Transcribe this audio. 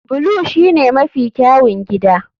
Blue shine mafi kyawun gida.